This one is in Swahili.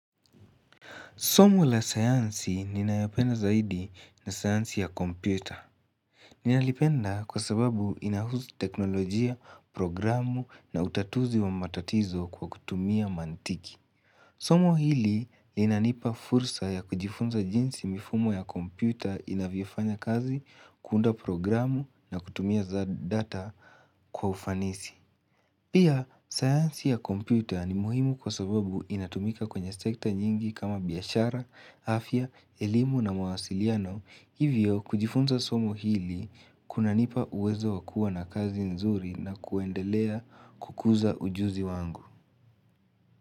Somo la sayansi ninayopenda zaidi na sayansi ya kompyuta. Ninalipenda kwa sababu inahusu teknolojia, programu na utatuzi wa matatizo kwa kutumia mantiki. Somo hili inanipa fursa ya kujifunza jinsi mifumo ya kompyuta inavyofanya kazi kuunda programu na kutumia za data kwa ufanisi. Pia, sayansi ya kompyuta ni muhimu kwa sababu inatumika kwenye sekta nyingi kama biashara, afya, elimu na mawasiliano, hivyo kujifunza somo hili kunanipa uwezo wa kua na kazi nzuri na kuendelea kukuza ujuzi wangu.